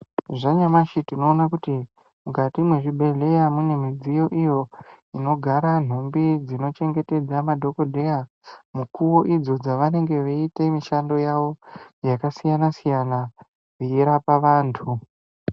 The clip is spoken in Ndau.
Zvanyamashi tinoona kuti mukati mwezvibhehleya mune midziyo iyo inogara nhumbi dzinochengetedza madhokodheya mukowo idzo dzavanenge veiite mishando yavo yakasiyana-siyana veirapa vantu.